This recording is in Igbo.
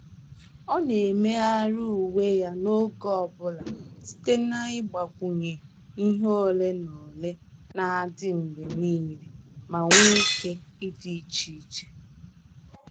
Ọ́ nà-èmégharị uwe ya n’ógè ọ bụla site n’ị́gbakwụnye ìhè ole na ole nà-adị́ mgbe nìile ma nwee ike ị́dị́ iche iche.